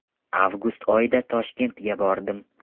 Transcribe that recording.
Avgust oyida Toshkentga bordim.